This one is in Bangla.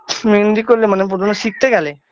শুধু মেহেন্দি করলে মানে প্রথমে শিখতে গেলে